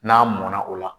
N'a mɔnna o la